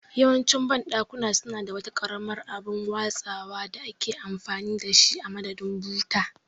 Yawancin banɗakuna suna da wata karamar abin latsawa da ake amfani da shi a madadin buta